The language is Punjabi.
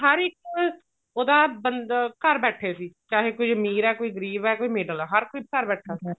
ਹਰ ਇੱਕ ਉਹਦਾ ਬੰਦਾ ਘਰ ਬੈਠੇ ਸੀ ਚਾਹੇ ਕੋਈ ਅਮੀਰ ਏ ਕੋਈ ਗਰੀਬ ਏ ਕੋਈ middle ਵਾਲਾ ਹਰ ਕੋਈ ਘਰ ਬੈਠਾ ਹੋਇਆ